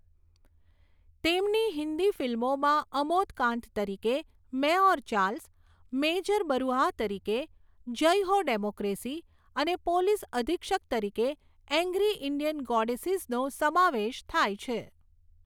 તેમની હિન્દી ફિલ્મોમાં અમોદ કાંત તરીકે 'મૈં ઔર ચાર્લ્સ', મેજર બરુઆહ તરીકે 'જય હો ડેમોક્રેસી' અને પોલીસ અધિક્ષક તરીકે 'એંગ્રી ઇંડિયન ગોડેસીઝ' નો સમાવેશ થાય છે.